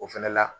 O fɛnɛ la